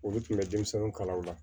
Olu tun bɛ denmisɛnninw kala o la